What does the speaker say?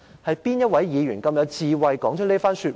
"是哪位議員這麼有智慧說出這番說話？